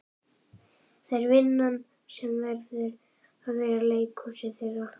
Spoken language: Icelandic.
Það er vinn- an sem verður að vera leikhúsið þeirra.